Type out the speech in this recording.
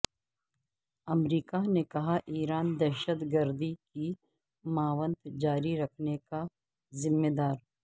امریکہ نے کہا ایران دہشت گردی کی معاونت جاری رکھنے کا ذمہ دار